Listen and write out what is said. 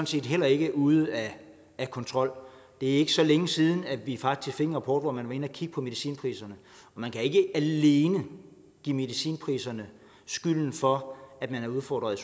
set heller ikke er ude af af kontrol det er ikke så længe siden at vi faktisk fik en rapport hvor man inde og kigge på medicinpriserne man kan ikke alene give medicinpriserne skylden for at man er udfordret